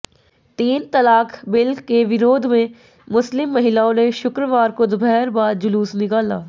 तीन तलाक बिल के विरोध में मुस्लिम महिलाओं ने शुक्रवार को दोपहर बाद जुलूस निकाला